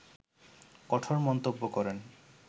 কঠোর মন্তব্য করেন